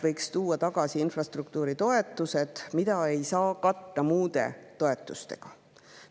Võiks tuua tagasi infrastruktuuritoetused, mida ei saa katta muude toetustega.